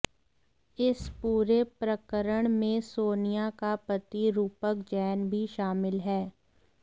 इस पूरे प्रकरण में सोनिया का पति रूपक जैन भी शामिल है